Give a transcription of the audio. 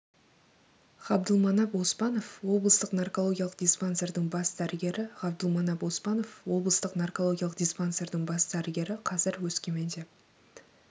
ғабдылманап оспанов облыстық наркологиялық диспансердің бас дәрігері ғабдылманап оспанов облыстық наркологиялық диспансердің бас дәрігері қазір өскеменде